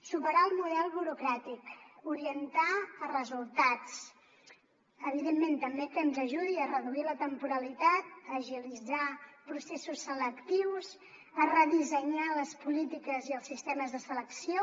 superar el model burocràtic orientar a resultats evidentment també que ens ajudi a reduir la temporalitat a agilitzar processos selectius a redissenyar les polítiques i els sistemes de selecció